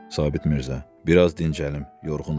Sabit Mirzə, biraz dincəlim, yorğunam.